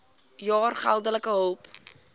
jaar geldelike hulp